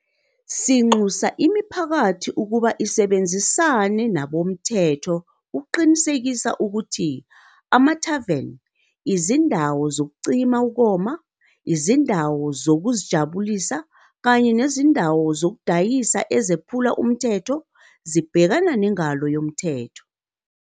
Sinxusa imiphakathi ukuba isebenzisane nabomthetho ukuqinisekisa ukuthi amathaveni, izindawo zokucima ukoma, izindawo zokuzijabulisa kanye nezindawo zokudayisa eziphula umthetho zibhekana nengalo yomthetho.